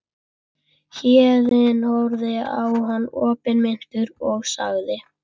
Héðinn horfði á hann opinmynntur og sagði